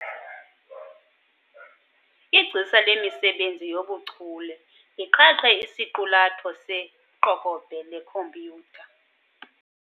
Igcisa lemisebenzi yobuchule liqhaqhe isiqulatho seqokobhe lekhompyutha.